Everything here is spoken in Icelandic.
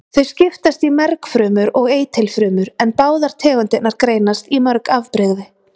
Þau skiptast í mergfrumur og eitilfrumur en báðar tegundirnar greinast í mörg afbrigði.